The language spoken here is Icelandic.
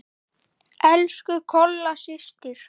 Elsku Kolla systir.